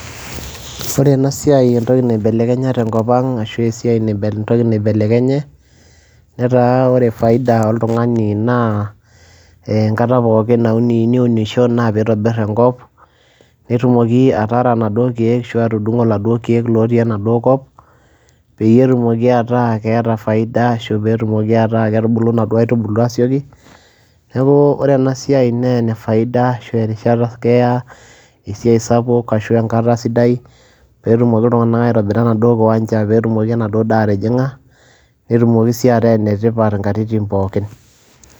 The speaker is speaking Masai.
Ore ena siai entoki naibelekenya te nkop aang' ashu esiai entoki naibelekenye netaa ore faida oltung'ani naa enkata pookin nauni niunisho naa piitobir enkop netumoki ataara naduo keek ashu atudung'o laduo keek lotii enaduo kop peyie etumoki ataa keeta faida ashu peetumoki ataa ketubulu naduo aitubulu aasioki. Neeku ore ena siai nee ene faida ashu erishata keya esiai sapuk ashu enkata sidai peetumoki iltung'anak aitobira enaduo kiwanja, peetumoki enaduo daa atijing'a netumoki sii ataa ene tipat nkatitin pookin.